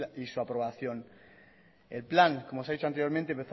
y su aprobación el plan como os he dicho anteriormente